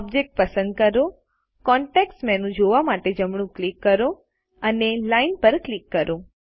object પસંદ કરો context menu જોવા માટે જમણું ક્લિક કરો અને લાઇન પર ક્લિક કરો